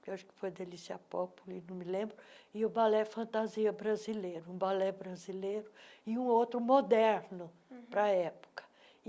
acho que foi Delícia Pópulo, não me lembro, e o balé fantasia brasileiro, um balé brasileiro e outro moderno para a época.